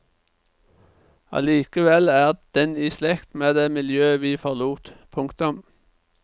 Allikevel er den i slekt med det miljøet vi forlot. punktum